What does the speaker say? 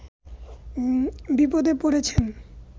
বিপদে পড়েছেন